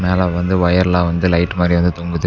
மேல வந்து ஒயர்லா வந்து லைட் மாரி வந்து தொங்குது.